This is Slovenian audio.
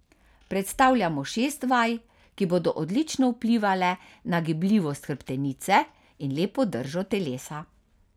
Predstavljamo šest vaj, ki bodo odlično vplivale na gibljivost hrbtenice in lepo držo telesa.